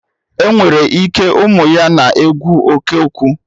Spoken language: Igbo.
Ọnwere ike, ụmụ ya na-ekwu oké okwu